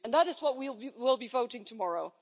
That is what we will be voting on tomorrow.